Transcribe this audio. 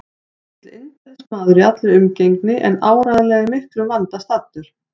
Mikill indælismaður í allri umgengni en áreiðanlega í miklum vanda staddur.